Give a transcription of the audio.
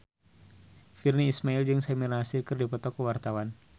Virnie Ismail jeung Samir Nasri keur dipoto ku wartawan